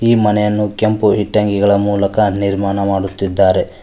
ಈ ಮನೆಯನ್ನು ಕೆಂಪು ಇಟ್ಟಂಗಿಗಳ ಮೂಲಕ ನಿರ್ಮಾಣ ಮಾಡುತ್ತಿದ್ದಾರೆ.